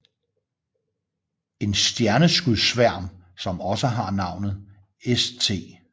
En stjerneskudssværm som også har navnet St